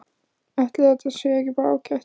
Ætli það sé ekki bara ágætt?